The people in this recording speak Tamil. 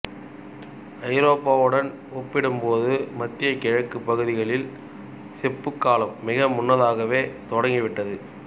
ஐரோப்பாவுடன் ஒப்பிடும்போது மத்திய கிழக்குப் பகுதிகளில் செப்புக்காலம் மிக முன்னதாகவே தொடங்கிவிட்டது